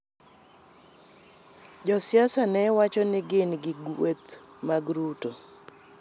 Jo siasa ne wacho ni gin gi gueth mag Ruto .